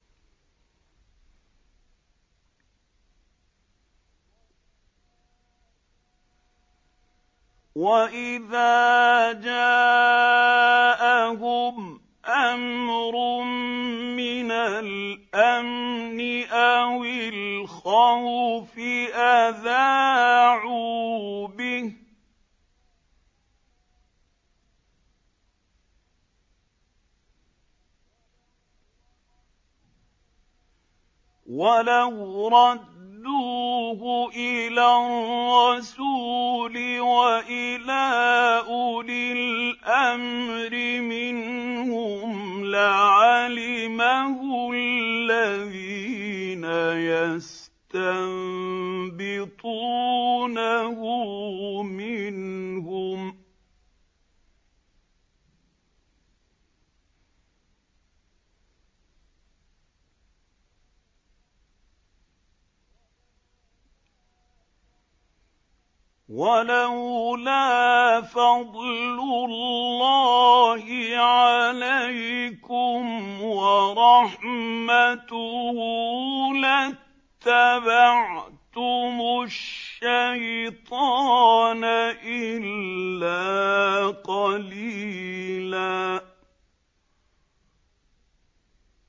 وَإِذَا جَاءَهُمْ أَمْرٌ مِّنَ الْأَمْنِ أَوِ الْخَوْفِ أَذَاعُوا بِهِ ۖ وَلَوْ رَدُّوهُ إِلَى الرَّسُولِ وَإِلَىٰ أُولِي الْأَمْرِ مِنْهُمْ لَعَلِمَهُ الَّذِينَ يَسْتَنبِطُونَهُ مِنْهُمْ ۗ وَلَوْلَا فَضْلُ اللَّهِ عَلَيْكُمْ وَرَحْمَتُهُ لَاتَّبَعْتُمُ الشَّيْطَانَ إِلَّا قَلِيلًا